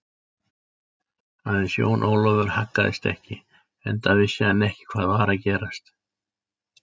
Aðeins Jón Ólafur haggaðist ekki, enda vissi hann ekki hvað var að gerast.